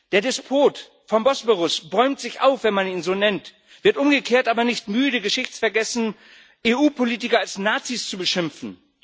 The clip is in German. Der Despot vom Bosporus bäumt sich auf, wenn man ihn so nennt, wird umgekehrt aber nicht müde, geschichtsvergessen EU Politiker als Nazis zu beschimpfen.